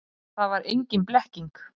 Að það var engin blekking.